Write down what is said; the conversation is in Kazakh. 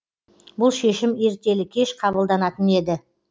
бұл шешім ертелі кеш қабылданатын еді